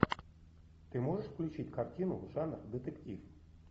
ты можешь включить картину жанр детектив